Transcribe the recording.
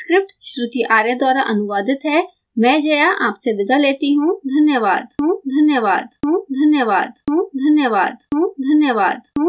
I I T Bombay से मैं श्रुति आर्य आपसे विदा लेती you धन्यवाद